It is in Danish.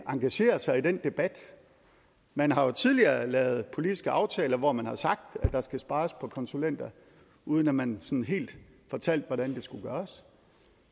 engagere sig i den debat man har jo tidligere lavet politiske aftaler hvor man har sagt at der skal spares på konsulenter uden at man sådan helt fortalte hvordan det skulle gøres